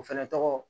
O fɛnɛ tɔgɔ